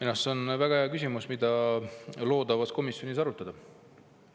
Jah, see on väga hea küsimus, mida loodavas komisjonis arutada.